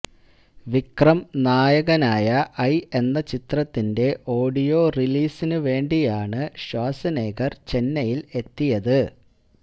വിക്രം നായകനായ ഐ എന്ന ചിത്രത്തിന്റെ ഓഡിയോ റിലീസിന് വേണ്ടിയാണ് ഷ്വാസ്നെഗര് ചെന്നൈയില് എത്തിയത്